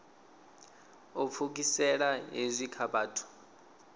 u pfukisela hezwi kha vhathu